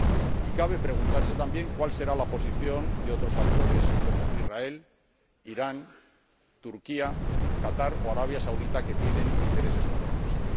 Y cabe preguntarse también cuál será la posición de otros actores, como Israel, Irán, Turquía, Qatar, o Arabia Saudí, que tienen intereses contrapuestos.